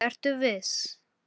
SKÚLI: Ertu viss?